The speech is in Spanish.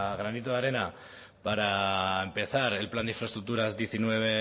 granito de arena para empezar el plan de infraestructuras diecinueve